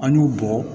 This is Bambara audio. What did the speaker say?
An y'u bɔ